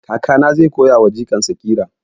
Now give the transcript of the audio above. Kakana zai koya wa jikan sa ƙira